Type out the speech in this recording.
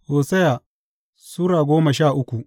Hosiya Sura goma sha uku